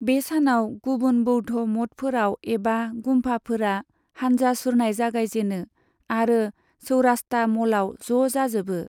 बे सानाव गुबुन बौद्ध मठफोराव एबा गुम्पाफोरा हानजा सुरनाय जागायजेनो आरो चौरास्ता म'लाव ज' जाजोबो।